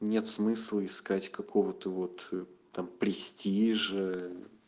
нет смысла искать какого ты вот там престижа